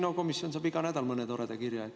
No, komisjon saab iga nädal mõne toreda kirja.